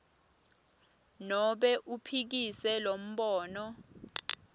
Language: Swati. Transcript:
nobe uphikise lombono